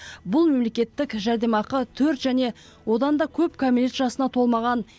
бұл мемлекеттік жәрдемақы төрт және одан да көп кәмелет жасына толмаған